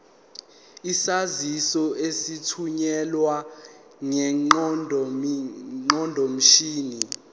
izaziso ezithunyelwe ngeqondomshini